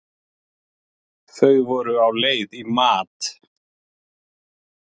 Þau voru á leið í mat.